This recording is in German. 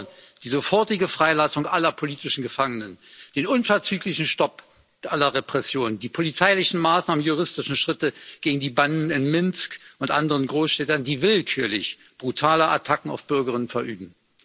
Wir fordern die sofortige Freilassung aller politischen Gefangenen, den unverzüglichen Stopp aller Repressionen, polizeiliche Maßnahmen und juristische Schritte gegen die Banden in Minsk und anderen Großstädten, die willkürlich brutale Attacken auf Bürger verüben.